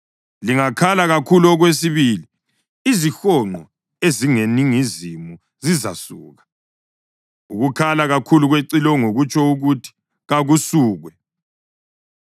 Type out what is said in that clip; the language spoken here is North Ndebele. Lingakhala kakhulu okwesibili izihonqo ezingeningizimu zizasuka. Ukukhala kakhulu kwecilongo kutsho ukuthi kakusukwe.